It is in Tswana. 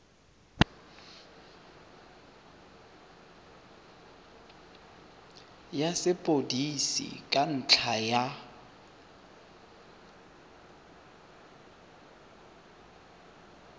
ya sepodisi ka ntlha ya